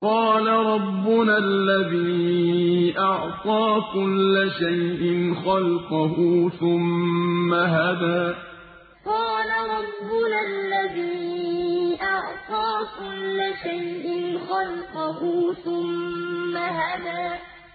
قَالَ رَبُّنَا الَّذِي أَعْطَىٰ كُلَّ شَيْءٍ خَلْقَهُ ثُمَّ هَدَىٰ قَالَ رَبُّنَا الَّذِي أَعْطَىٰ كُلَّ شَيْءٍ خَلْقَهُ ثُمَّ هَدَىٰ